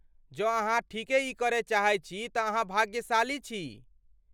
जँ अहाँ ठीके ई करय चाहैत छी तँ अहाँ भाग्यशाली छी।